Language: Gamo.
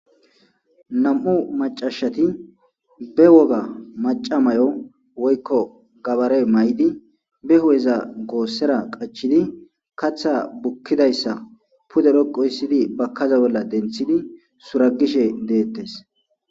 Namu maccashshati ba wogga macca mayo woyikko gabare mayidi hupheza gosera qachchidi kaaththa bukidayisa pudera gosiddi suragishshe deetesi